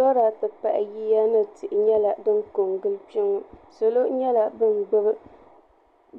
Lɔra ti pahi yiya ni tihi nyɛla din ko n gili kpe ŋɔ salo nyɛla bin gbubi